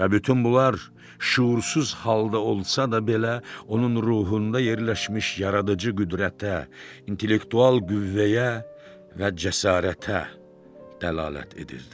Və bütün bunlar şüursuz halda olsa da belə onun ruhunda yerləşmiş yaradıcı qüdrətə, intellektual qüvvəyə və cəsarətə dəlalət edirdi.